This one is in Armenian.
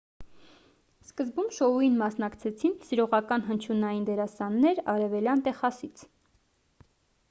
սկզբում շոուին մասնակցեցին սիրողական հնչյունային դերասաններ արևելյան տեխասից